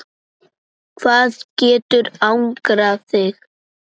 hvað getur angrað þig?